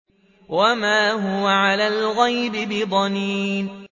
وَمَا هُوَ عَلَى الْغَيْبِ بِضَنِينٍ